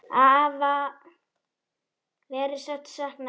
Afa verður sárt saknað.